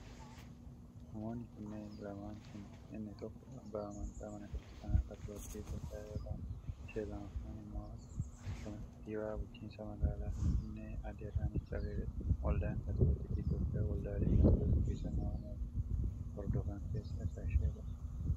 Namoonni kunneen lamaan kun inni tokko abbaa amntii mana Kiristaanaa Kaatoliikii Itoophiyaa yoo ta'an, ishee lammaffaan immoo kantii bulchiinsa magaalaa Finfinnee Aaddee Adaanach Abeebee dha. Waldaan Kaatoliikii Itoophiyaa, waldaalee Kaatolikii sirna warra bahaa hordofan keessaa ishee tokko.